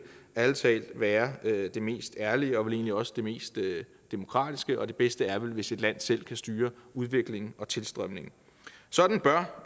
ærlig talt være det mest ærlige og vel egentlig også det mest demokratiske for det bedste er vel hvis et land selv kan styre udviklingen og tilstrømningen sådan bør